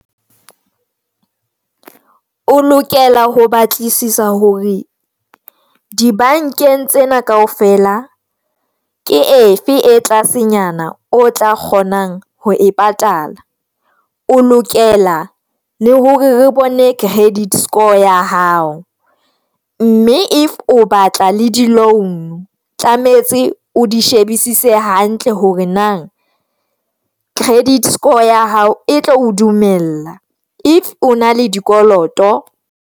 O lokela ho batlisisa hore di bankeng tsena kaofela. Ke efe e tlasenyana o tla kgonang ho e patala.O lokela le hore re bone credit score ya hao, mme if o batla le di-loan, tlametse o di shebisise hantle hore na credit score ya hao e tlo o dumella. If o na le dikoloto.